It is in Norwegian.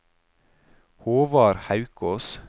Håvard Haukås